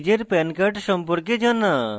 নিজের pan card সম্পর্কে জানা